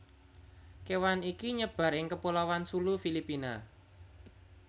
kewan iki nyebar ing kepulauan Sulu Filipina